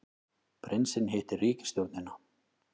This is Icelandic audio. Prinsinn hittir ríkisstjórnina